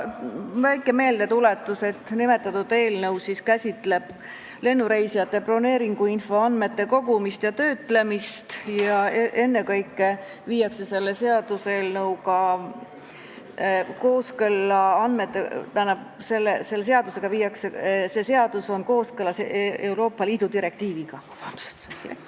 Väike meeldetuletus, et nimetatud eelnõu käsitleb lennureisijate broneeringuinfo andmete kogumist ja töötlemist ning on kooskõlas Euroopa Liidu direktiiviga.